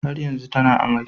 Har yanzu tana amai